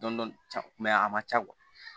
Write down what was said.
Dɔɔnin dɔɔnin can a man ca